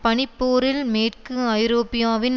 பனிப்போரில் மேற்கு ஐரோப்பாவின்